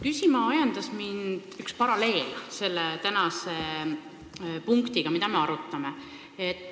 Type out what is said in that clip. Küsima ajendas mind üks paralleel selle teemaga, mida me täna arutame.